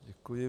Děkuji.